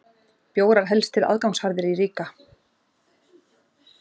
Bjórar helst til aðgangsharðir í Riga